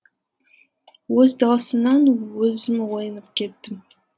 өз дауысымнан өзім оянып кеттім